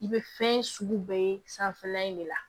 I be fɛn sugu bɛɛ ye sanfɛla in de la